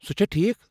سُہ چھا ٹھیٖکھ ؟